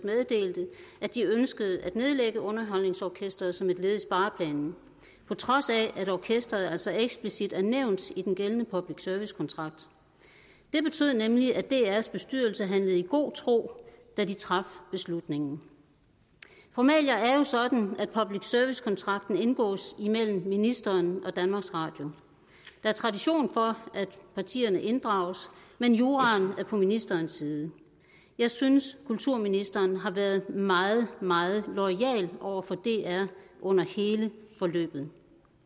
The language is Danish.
meddelte at de ønskede at nedlægge underholdningsorkestret som et led i spareplanen på trods af at orkesteret altså eksplicit er nævnt i den gældende public service kontrakt det betød nemlig at drs bestyrelse handlede i god tro da de traf beslutningen formalia er jo sådan at public service kontrakten indgås mellem ministeren og danmarks radio der er tradition for at partierne inddrages men juraen er på ministerens side jeg synes kulturministeren har været meget meget loyal over for dr under hele forløbet